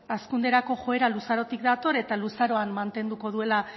eta hazkunderako joera luzarotik dator eta luzaroan mantenduko duela